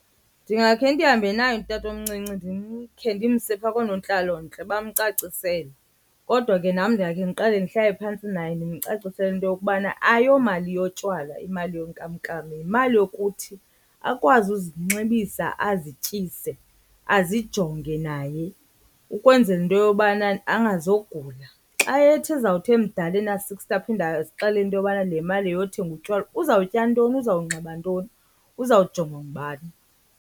Ndingakhe ndihambe naye utatomncinci ndikhe ndimse phaa koonontlalontle bamcacisele. Kodwa ke nam ndingakhe ndiqale ndihlale phantsi naye ndimcacisele into yokubana ayiyomali yotywala imali yenkamnkam, yimali yokuthi akwazi uzinxibisa azityise azijonge naye ukwenzela into yobana angazogula. Xa ethi ezawuthi mdala ena-sixty aphinde azixelele into yobana le mali yeyothenga utywala, uzawutya ntoni, uzawunxiba ntoni, uzawujongwa ngubani?